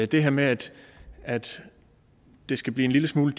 det her med at det skal blive en lille smule